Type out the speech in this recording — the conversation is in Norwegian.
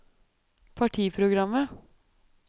partiprogrammet